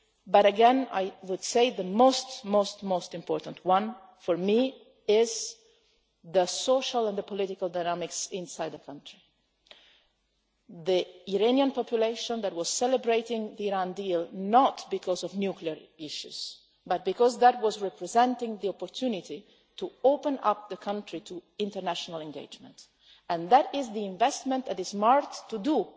country. But again, I would say the most important thing for me are the social and the political dynamics inside the country. The Iranian population was celebrating the Iran deal, not because of nuclear issues, but because it was representing the opportunity to open up the country to international engagement. That is the investment that is